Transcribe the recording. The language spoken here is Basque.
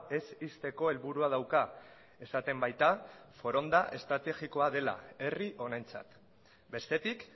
ez ixteko helburua dauka esaten baita foronda estrategikoa dela herri honentzat bestetik